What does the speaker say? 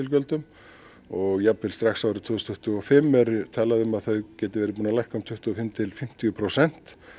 og díselgjöldum jafnvel strax árið tvö þúsund tuttugu og fimm er talað um að þau geti verið búin að lækka um tuttugu og fimm til fimmtíu prósent